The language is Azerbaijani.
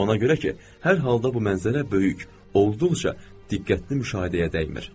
Ona görə ki, hər halda bu mənzərə böyük, olduqca diqqətli müşahidəyə dəymir.